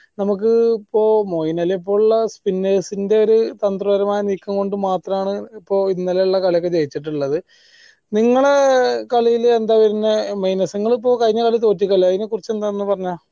നമ്മക്ക് ഇപ്പൊ മോഹിനാലിയെ പോലുള്ള spinners ന്റെ ഒരു തന്ത്രപരമായ നീക്കം കൊണ്ട് മാത്രമാണ് ഇപ്പൊ ഇന്നലെ ഉള്ള കളി ജയിച്ചട്ടുള്ളത് നിങ്ങള കളീൽ യെന്താ വരണ minus നിങ്ങൾ ഇപ്പൊ കഴിഞ്ഞ കളി തൊട്ടീക്കല്ലോ അയിനെ കുറിച്ച് എന്താ എന്ന് ഒന്ന് പറഞ്ഞേ